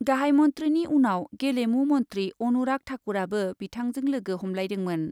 गाहाइ मन्थ्रिनि उनाव गेलेमु मन्थ्रि अनुराग ठाकुरआबो बिथांजों लोगो हमलायदोंमोन।